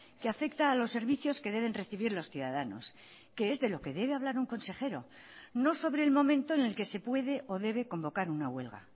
que afecta a los servicios que deben recibir los ciudadanos que es de lo que debe hablar un consejero no sobre el momento en el que se puede o debe convocar una huelga